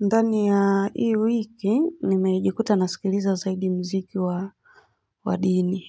Ndani ya hii wiki, nimejikuta nasikiliza zaidi mziki wa wadini.